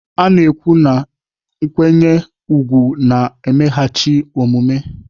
A na-ekwu na nkwanye ùgwù na-emeghachi omume.